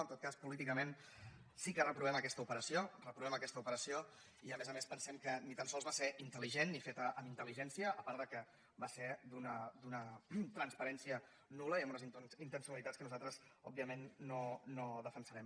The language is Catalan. en tot cas políticament sí que reprovem aquesta operació reprovem aquesta operació i a més a més pensem que ni tan sols va ser intel·ligent ni feta amb intelligència a part que va ser d’una transparència nul·la i amb unes intencionalitats que nosaltres òbviament no defensarem